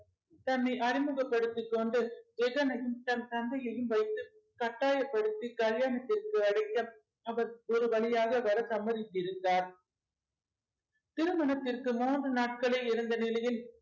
தன்னை அறிமுகப்படுத்திக் கொண்டு ஜகனையும் தன் தந்தையையும் வைத்து கட்டாய படுத்தி கல்யாணத்திற்கு அழைக்க அவர் ஒரு வழியாக வர சம்மதித்திருந்தார் திருமணத்திற்கு மூன்று நாட்களே இருந்த நிலையில்